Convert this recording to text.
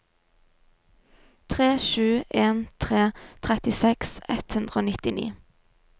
tre sju en tre trettiseks ett hundre og nittini